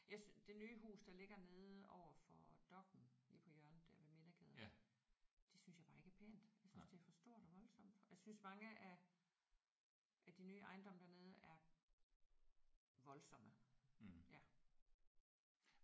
Jeg det nye hus der ligger nede overfor Dokk1 lige på hjørnet der ved Midtergade det synes jeg bare ikke er pænt. Jeg synes det er for stort og voldsomt. Og jeg synes mange af af de nye ejendomme dernede er voldsomme ja